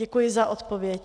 Děkuji za odpověď.